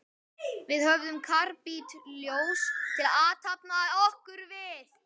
Við höfðum karbítljós til að athafna okkur við.